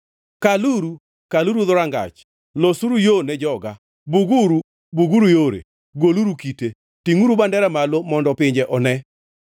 Kaluru, kaluru dhorangach! Losuru yo ne joga. Buguru, buguru yore! Goluru kite. Tingʼuru bandera malo mondo pinje one.